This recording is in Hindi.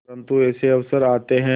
परंतु ऐसे अवसर आते हैं